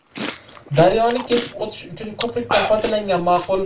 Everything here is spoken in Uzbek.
Daryoni kesib o‘tish uchun ko‘prikdan foydalangan ma’qul.